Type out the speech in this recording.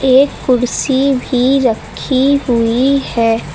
एक कुर्सी भी रखी हुई है।